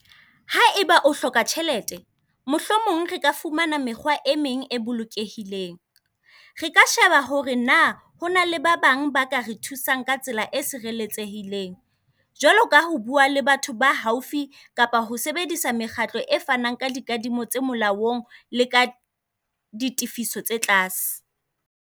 Haeba o hloka tjhelete, mohlomong re ka fumana mekgwa e meng e bolokehileng. Re ka sheba hore naa ho na le ba bang ba ka re thusang ka tsela e sireletsehileng. Jwaloka ho bua le batho ba haufi, kapa ho sebedisa mekgatlo e fanang ka dikadimo tse molaong le ka ditefiso tse tlase.